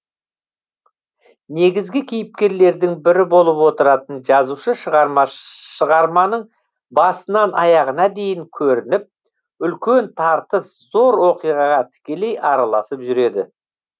негізгі кейіпкерлердің бірі болып отыратын жазушы шығарманың басынан аяғына дейін көрініп үлкен тартыс зор оқиғаға тікелей араласып жүреді